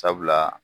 Sabula